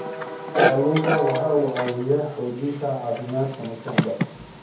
Kalluunku waxa uu caawiyaa xoojinta caafimaadka maskaxda.